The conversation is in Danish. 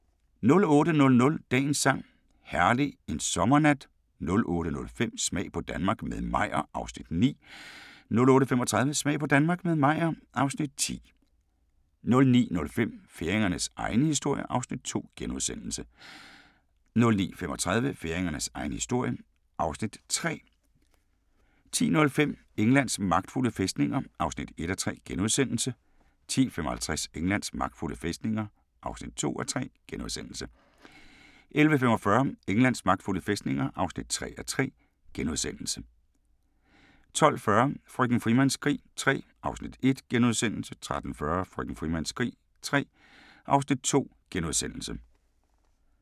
08:00: Dagens sang: Herlig en sommernat 08:05: Smag på Danmark – med Meyer (Afs. 9) 08:35: Smag på Danmark – med Meyer (Afs. 10) 09:05: Færingernes egen historie (Afs. 2)* 09:35: Færingernes egen historie (Afs. 3) 10:05: Englands magtfulde fæstninger (1:3)* 10:55: Englands magtfulde fæstninger (2:3)* 11:45: Englands magtfulde fæstninger (3:3)* 12:40: Frøken Frimans krig III (Afs. 1)* 13:40: Frøken Frimans krig III (Afs. 2)*